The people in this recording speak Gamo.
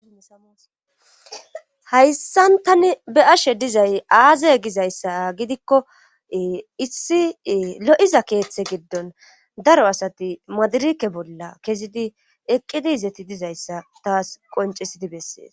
saashayssan tani be ashe dizay aazay gizayssa gidikko issi lo7iza keeththe giddon daro asati madirike bolla kezidi eqqidi izeti dizayssa taas qoncisidi bessees